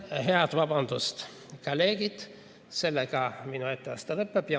Head kolleegid, sellega minu etteaste lõpeb.